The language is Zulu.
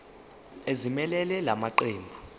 ezimelele la maqembu